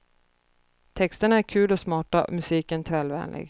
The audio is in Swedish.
Texterna är kul och smarta och musiken trallvänlig.